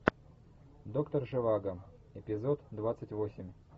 доктор живаго эпизод двадцать восемь